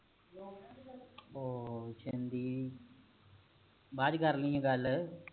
ਉਹ ਦਿੰਦੀ ਬਾਅਦ ਵਿਚ ਕਰ ਲੀ ਹਾਂ ਗੱਲ